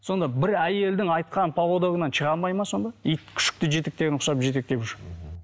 сонда бір әйелдің айтқан поводогынан шыға алмайды ма сонда ит күшікті жетектеген құсап жетектеп жүр мхм